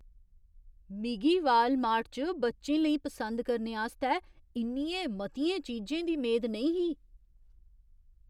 मिगी वालमार्ट च बच्चें लेई पसंद करने आस्तै इन्नियें मतियें चीजें दी मेद नेईं ही।